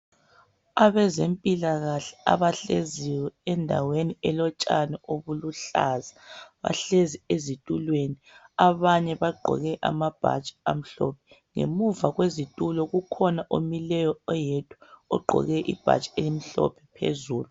abazempilakahle abahleziyo endaweni elotshani oluhlaza bahlezi ezitulweni abanye bagqoke amabhatshi amhlophe ngemuva kwezitulo ukhona omileyo oyedwa ugqoke ibhatshi elimhlophe phezulu